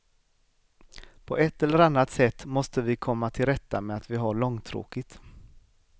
På ett eller annat sätt måste vi komma till rätta med att vi har långtråkigt.